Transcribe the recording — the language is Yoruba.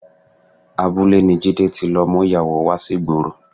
Abúlé ni Jídé ti lọ mú ìyàwó wá sí ìgboro